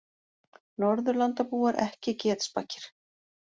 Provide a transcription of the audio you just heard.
Norðurlandabúar ekki getspakir